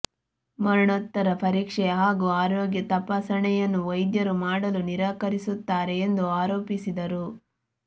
ಮರಣೋತ್ತರ ಪರೀಕ್ಷೆ ಹಾಗೂ ಆರೋಗ್ಯ ತಪಾಸ ಣೆಯನ್ನು ವೈದ್ಯರು ಮಾಡಲು ನಿರಾಕರಿ ಸುತ್ತಾರೆ ಎಂದು ಆರೋಪಿಸಿದರು